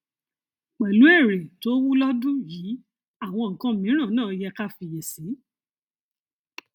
pẹlú èrè tó wúlọdún yìí àwọn nkan mìíràn náà yẹ ká fiyèsí